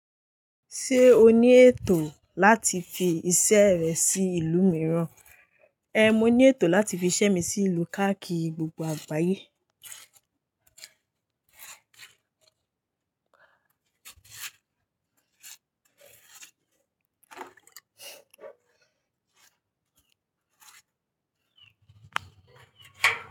Ṣé o ní ètò láti fi iṣẹ́ rẹ sí ìlú mìíràn? Ehn, mo ní ètò láti fi iṣẹ́ mi sí ìlú káàkiri gbogbo àgbáyé.